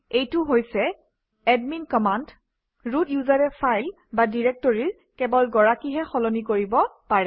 এইটো হৈছে admin command root ইউজাৰে ফাইল বা ডিৰেক্টৰীৰ কেৱল গৰাকীহে সলনি কৰিব পাৰে